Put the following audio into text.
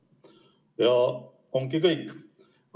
Ja ongi kõik.